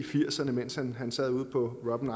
firserne mens han sad ude på robben